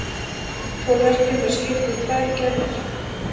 Túrverkjum er skipt í tvær gerðir.